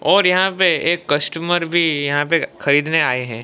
और यहां पे एक कस्टमर भी यहां पे खरीदने आये है।